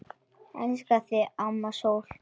Elska þig, amma sól.